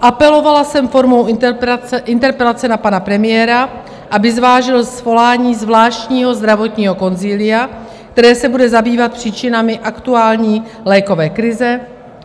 Apelovala jsem formou interpelace na pana premiéra, aby zvážil svolání zvláštního zdravotního konzilia, které se bude zabývat příčinami aktuální lékové krize,